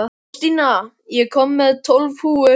Þórstína, ég kom með tólf húfur!